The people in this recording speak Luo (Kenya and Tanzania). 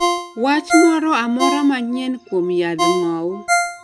wach moro amora manyien kuom yadh ng'owo